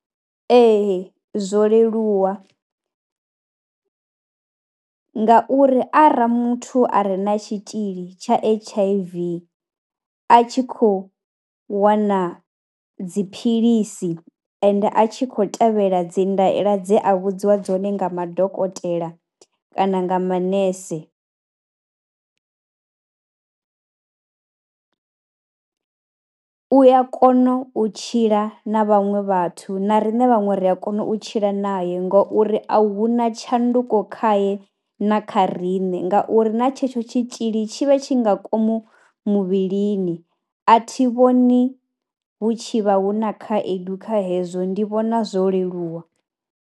Ee zwo leluwa ngauri arali muthu a re na tshitzhili tsha H_I_V a tshi khou wana dziphilisi ende a tshi khou tevhela dzi ndaela dze a vhudziwa dzone nga madokotela kana nga manese, u a kona u tshila na vhaṅwe vhathu na riṋe vhaṅwe ri a kona u tshila naye ngouri a hu na tshanduko khae na kha kha riṋe ngauri na tshetsho tshitzhili tshi vha tshi nga ngomu muvhilini. A thi vhoni hu tshi vha hu na khaedu kha hezwo, ndi vhona zwo leluwa.